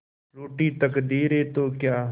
रूठी तकदीरें तो क्या